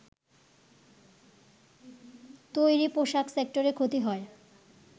তৈরি পোশাক সেক্টরে ক্ষতি হয়